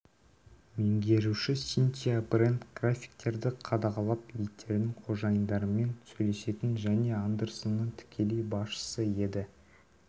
меңгеруші синтия брэнд графиктерді қадағалап иттердің қожайындарымен сөйлесетін және андерсонның тікелей басшысы еді